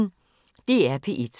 DR P1